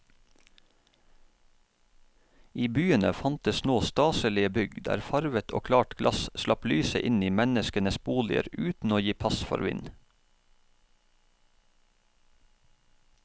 I byene fantes nå staselige bygg der farvet og klart glass slapp lyset inn i menneskenes boliger uten å gi pass for vind.